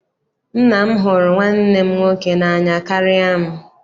Nna m hụrụ nwanne m nwoke n'anya karịa m.